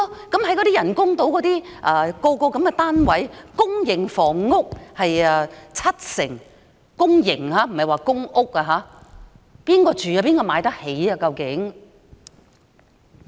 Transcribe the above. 公營房屋佔人工島上房屋單位的七成——是公營房屋，不是公屋——究竟會讓誰居住、哪些人才買得起呢？